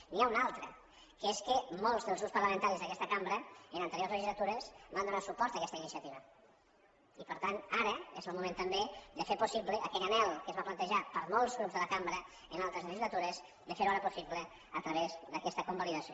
n’hi ha una altra que és que molts dels grups parlamentaris d’aquesta cambra en anteriors legislatures van donar suport a aquesta iniciativa i per tant ara és el moment també de fer possible aquell anhel que es va plantejar per molts grups de la cambra en altres legislatures de ferho ara possible a través d’aquesta convalidació